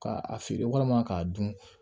K'a feere walima k'a dun